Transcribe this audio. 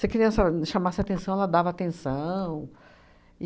a criança chamasse atenção, ela dava atenção.